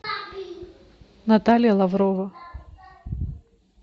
наталья лаврова